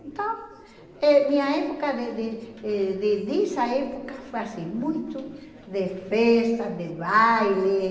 Então, eh minha época, de de eh de dessa época, foi assim, muito de festa, de baile.